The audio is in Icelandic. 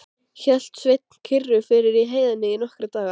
Hélt Sveinn kyrru fyrir í heiðinni í nokkra daga.